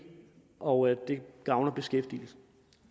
og det gavner beskæftigelsen